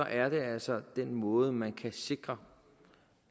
er det altså den måde hvorpå man kan sikre